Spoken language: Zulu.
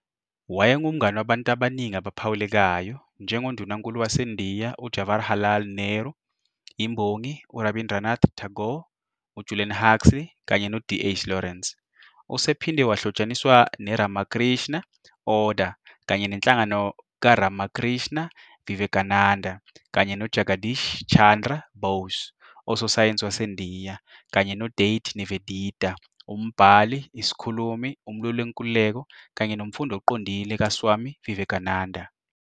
Wayengumngane wabantu abaningi abaphawulekayo, njengoNdunankulu waseNdiya uJawaharlal Nehru, imbongi uRabindranath Tagore, uJulian Huxley, kanye noDH Lawrence. USen uphinde wahlotshaniswa ne- Ramakrishna Order kanye nenhlangano kaRamakrishna Vivekananda, kanye no- Jagadish Chandra Bose, usosayensi waseNdiya, kanye noDade Nivedita, umbhali, isikhulumi, umlweli wenkululeko kanye nomfundi oqondile kaSwami Vivekananda.